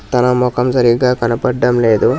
తన మొఖం సరిగ్గా కనపడ్డం లేదు.